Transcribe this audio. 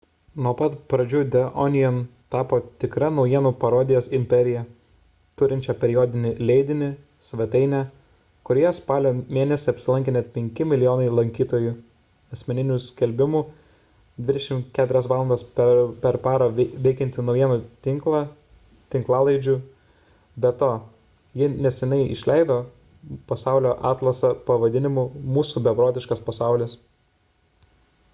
nuo pat pradžių the onion tapo tikra naujienų parodijos imperija turinčia periodinį leidinį svetainę kurioje spalio mėnesį apsilankė net 5 mln lankytojų asmeninių skelbimų 24 valandas per parą veikiantį naujienų tinklą tinklalaidžių be to ji neseniai išleido pasaulio atlasą pavadinimu mūsų beprotiškas pasaulis